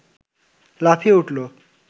লাফিয়ে উঠল